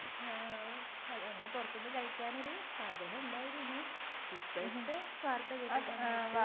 ആ അങ്ങനെ പൊറത്തൂന്ന് കഴിക്കാനൊരു ആഗ്രഹം ഇണ്ടായിരുന്നു പക്ഷെ ഇപ്പഴത്തെ വാർത്ത കേക്കുമ്പോ